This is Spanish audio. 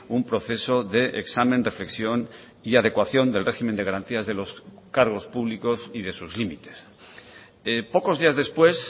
un proceso de examen reflexión y adecuación del régimen de garantías de los cargos públicos y de sus límites pocos días después